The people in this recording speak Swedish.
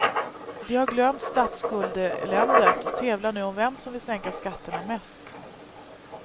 De har glömt statsskuldseländet och tävlar nu om vem som vill sänka skatterna mest.